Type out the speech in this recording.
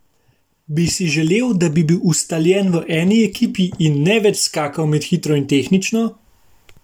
Bi si želel, da bi bil ustaljen v eni ekipi in ne več skakal med hitro in tehnično?